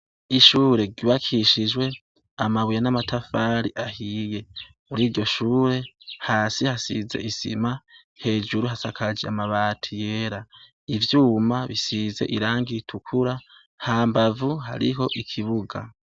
Ishure ryubakishijwe amabuye n'amatafari ahiye, kuriryo shure hasi hasize isima , hejuru hasakaje amabati yera, ivyuma bisize irangi ritukura, hambavu hariho ikibuga.